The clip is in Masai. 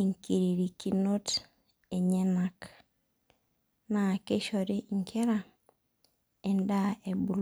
enkiririkinot enyenak naa keishori enkira edaa ebulu.